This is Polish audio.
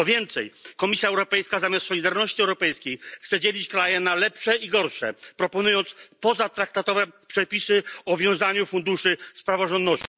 Co więcej, Komisja Europejska zamiast solidarności europejskiej chce dzielić kraje na lepsze i gorsze, proponując pozatraktatowe przepisy o wiązaniu funduszy z praworządnością.